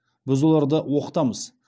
біз оларды оқытамыз